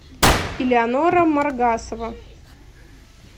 элеонора маргасова